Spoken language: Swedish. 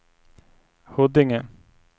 Huddinge